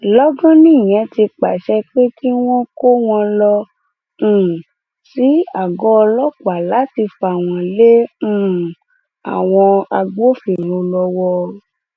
lọgán nìyẹn ti pàṣẹ pé kí wọn kó wọn lọ um sí àgọ ọlọpàá láti fà wọn lé um àwọn agbófinró lọwọ